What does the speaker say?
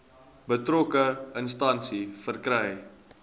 betrokke instansie verkry